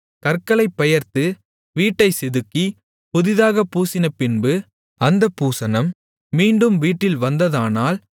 கற்களைப் பெயர்த்து வீட்டைச்செதுக்கி புதிதாகப் பூசினபின்பும் அந்தப் பூசணம் மீண்டும் வீட்டில் வந்ததானால்